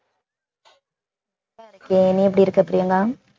நல்லாயிருக்கேன் நீ எப்படி இருக்க பிரியங்கா